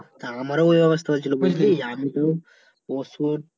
তা আমারও ঐ অবস্থা হয়েছিলো বুঝলি আমি তো ওষুধ